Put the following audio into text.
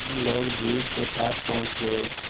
हम लोग द्वीप के पास पहुँच गए